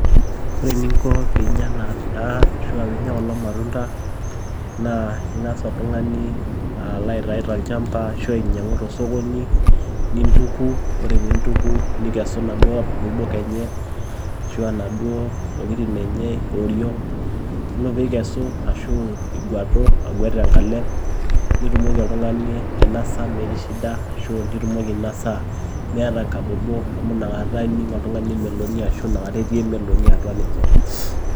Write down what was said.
Ore ening'o pee inya ena daa aashu peinya kulo matunda naa eng'as oltung'ani alo aitau tolchampa ashu ainyiang'u tosokoni nintuku ore pee intuku nikesu Ina duo abobok enye, ashu Ina duo tokitin enye eoriong' yielo pee ikesu ashu iguatu aguet te nkalalem' nitumoki oltung'ani ainosa emetii shida ashu nitumoki ainosa meeta engabobok amu nakata ake ening' oltung'ani emeloni ashu nakata etii emeloni atwa ninye.